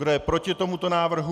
Kdo je proti tomuto návrhu?